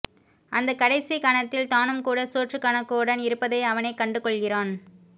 அந்த கடைசிக் கணத்தில் தானும் கூட சோற்றுக்கணக்குடன் இருப்பதை அவனே கண்டுகொள்கிறான்